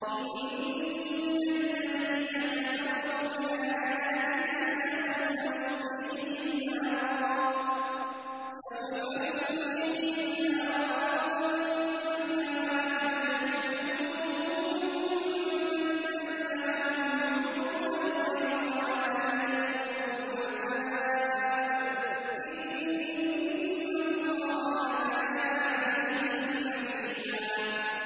إِنَّ الَّذِينَ كَفَرُوا بِآيَاتِنَا سَوْفَ نُصْلِيهِمْ نَارًا كُلَّمَا نَضِجَتْ جُلُودُهُم بَدَّلْنَاهُمْ جُلُودًا غَيْرَهَا لِيَذُوقُوا الْعَذَابَ ۗ إِنَّ اللَّهَ كَانَ عَزِيزًا حَكِيمًا